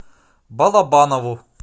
балабанову